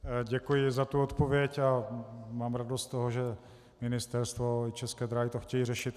Děkuji za tu odpověď a mám radost z toho, že Ministerstvo i České dráhy to chtějí řešit.